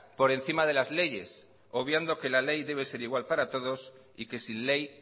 por encima de las leyes obviando que la ley debe ser igual para todos y que sin ley